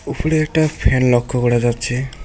ওফরে একটা ফ্যান লক্ষ্য করা যাচ্ছে।